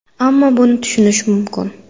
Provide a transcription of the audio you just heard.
Ammo buni tushunish mumkin.